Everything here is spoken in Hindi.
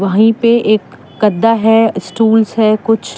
वही पे एक गद्दा है। स्टूल्स है कुछ।